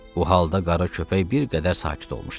Bu halda qara köpək bir qədər sakit olmuşdu.